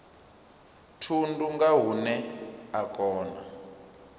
thundu nga hune a kona